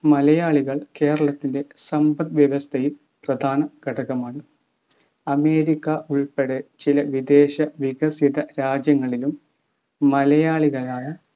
മലയാളികൾ കേരളത്തിൻ്റെ സമ്പദ്‌വ്യവസ്ഥയിൽ പ്രധാനഘടകമാണ് അമേരിക്ക ഉൾപ്പെടെ ചില വിദേശ വികസിത രാജ്യങ്ങളിലും മലയാളികളായ